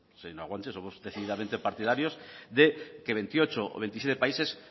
señora guanche somos decididamente partidarios de que veintiocho o veintisiete países